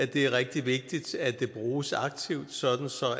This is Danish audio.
det er rigtig vigtigt at det bruges aktivt sådan